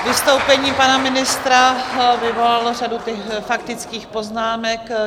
Vystoupení pana ministra vyvolalo řadu faktických poznámek.